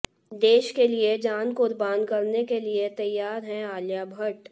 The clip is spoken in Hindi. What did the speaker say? देश के लिए जान कुर्बान करने के लिए तैयार हैं आलिया भट्ट